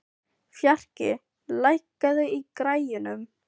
Fjarki, lækkaðu í græjunum.